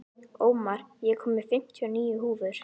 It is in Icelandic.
Ómar, ég kom með fimmtíu og níu húfur!